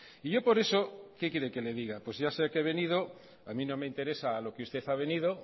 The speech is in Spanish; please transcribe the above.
y yo por eso qué quiere que le diga pues ya sé a que he venido a mí no me interesa a lo que usted ha venido